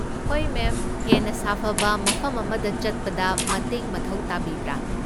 ꯍꯣꯏ, ꯃꯦꯝ, ꯍꯦꯟꯅ ꯁꯥꯐꯕ ꯃꯐꯝ ꯑꯃꯗ ꯆꯠꯄꯗ ꯃꯇꯦꯡ ꯃꯊꯧ ꯇꯥꯕꯤꯕ꯭ꯔꯥ?